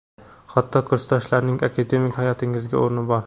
hatto kursdoshlar)ning akademik hayotingizda o‘rni bor.